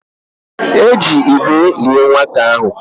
E ji igbe lié nwata ahụ.